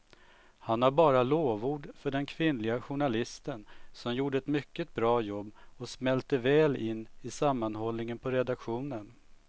Han har bara lovord för den kvinnliga journalisten som gjorde ett mycket bra jobb och smälte väl in i sammanhållningen på redaktionen.